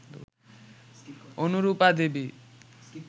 Anurupa Devi